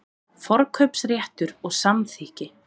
Forkaupsréttur og samþykki.